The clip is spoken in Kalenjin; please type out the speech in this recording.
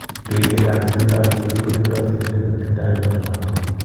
Biik chechang' che tindo HD kotindo sigindeet ne tindo mnyando noton.